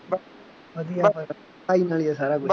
ਵਧੀਆ ਫੇਰ ਤਾਂ ਪੜ੍ਹਾਈ ਨਾਲ ਹੀ ਆ ਸਾਰਾ ਕੁੱਛ